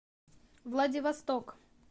владивосток